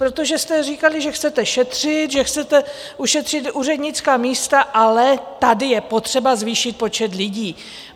Protože jste říkali, že chcete šetřit, že chcete ušetřit úřednická místa, ale tady je potřeba zvýšit počet lidí.